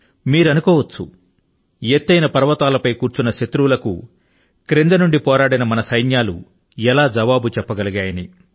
మీరు అనుకోవచ్చు ఎత్తైన పర్వతాలపై కూర్చున్న శత్రువుల కు క్రింద నుండి పోరాడిన మన సైన్యాలు ఎలా జవాబు చెప్పగలిగాయి అని